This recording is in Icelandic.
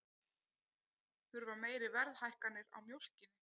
Þurfa meiri verðhækkanir á mjólkinni